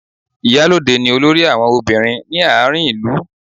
Ìyálóde ni olórí àwọn ọbìnrin ní àárín ìlú